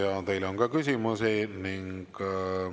Ja teile on ka küsimusi.